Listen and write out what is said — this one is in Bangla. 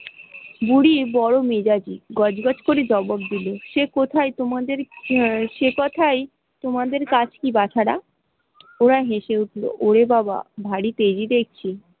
বুড়ি বড় মেজাজি, গজগজ করে জবাব দিল সে কোথায় আহ সে কথায় তোমাদের কাজ কি বাছারা? ওরা হেসে উঠল ওরে বাবা ভারি তেজি দেখছি।